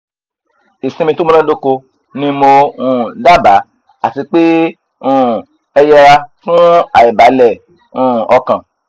isinmi to munadoko ni mo um daba ati pe e um yera fun aibale um okan